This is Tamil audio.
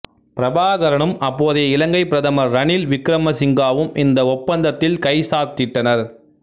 பிரபாகரனும் அப்போதைய இலங்கை பிரதமர் ரணில் விக்கிரமசிங்காவும் இந்த ஒப்பந்தத்தில் கைச்சாத்திட்டனர்